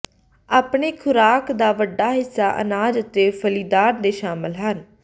ਆਪਣੇ ਖੁਰਾਕ ਦਾ ਵੱਡਾ ਹਿੱਸਾ ਅਨਾਜ ਅਤੇ ਫਲ਼ੀਦਾਰ ਦੇ ਸ਼ਾਮਲ ਹਨ